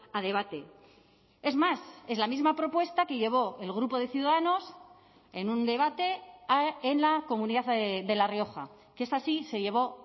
a debate es más es la misma propuesta que llevó el grupo de ciudadanos en un debate en la comunidad de la rioja que es así se llevó